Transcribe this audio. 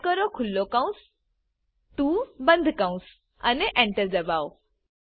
type કરો ખુલો કૌંસ 2 બંદ કૌંસ અને Enter દબાઓ